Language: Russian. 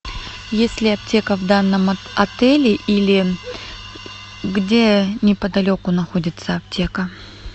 есть ли аптека в данном отеле или где неподалеку находится аптека